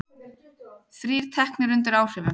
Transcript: Þrír teknir undir áhrifum